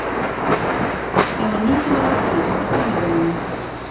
Það var níunda mark hans á tímabilinu.